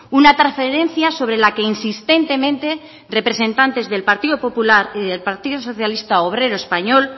una transferencia sobre la que insistentemente representantes del partido popular y del partido socialista obrero español